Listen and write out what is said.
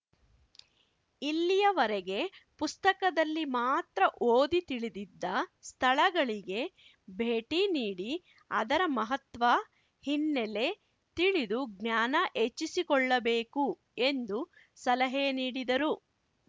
ಇಲ್ಲಿಯವರೆಗೆ ಪುಸ್ತಕದಲ್ಲಿ ಮಾತ್ರ ಓದಿ ತಿಳಿದಿದ್ದ ಸ್ಥಳಗಳಿಗೆ ಭೇಟಿ ನೀಡಿ ಅದರ ಮಹತ್ವ ಹಿನ್ನೆಲೆ ತಿಳಿದು ಜ್ಞಾನ ಹೆಚ್ಚಿಸಿಕೊಳ್ಳ ಬೇಕು ಎಂದು ಸಲಹೆ ನೀಡಿದರು